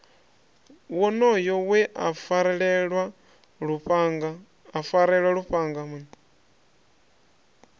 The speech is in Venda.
wonoyo we a farelwa lufhanga